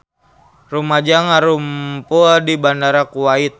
Rumaja ngarumpul di Bandara Kuwait